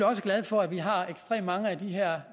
også glad for at vi har ekstremt mange af de her